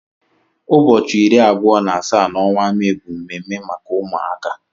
Ụbọchị iri abụọ na asaa n'ọnwa Mee bụ mme mme maka ụmụaka.